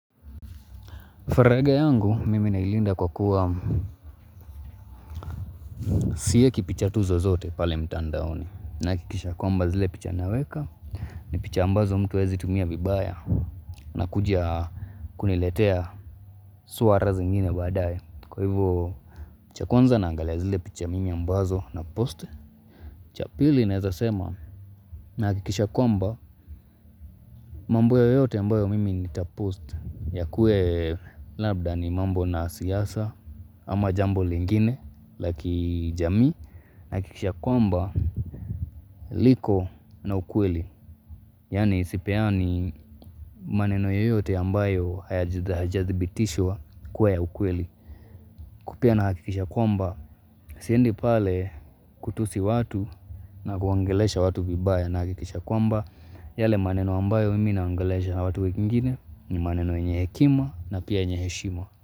Faraga yangu mimi nailinda kwa kuwa sieki tu picha tu zozote pale mtandaoni. Nahakikisha kwamba zile picha naweka ni picha ambazo mtu hawezi tumia vibaya na kuja kuniletea swara zingine baadaye Kwa hivo cha kuanza na angalia zile picha mimi ambazo na post. Cha pili naeza sema na hakikisha kwamba mambi yoyote ambayo mimi nitapost yakue labda ni mambo na siasa ama jambo lingine laki jamii na hakikisha kwamba liko na ukweli. Yani sipeani maneno yoyote ambayo haya jazibitishwa kwa ya ukweli Kupia na hakikisha kwamba Siendi pale kutusi watu na kuangolesha watu vibaya na hakikisha kwamba yale maneno ambayo mimi naongelesha na watu wikingine ni maneno yenye hekima na pia yenye heshima.